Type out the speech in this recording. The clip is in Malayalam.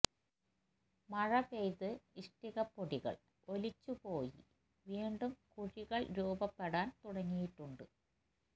മഴ പെയ്ത് ഇഷ്ടിക പൊടികള് ഒലിച്ചുപോയി വീണ്ടും കുഴികള് രൂപപ്പെടാന് തുടങ്ങിയിട്ടുണ്ട്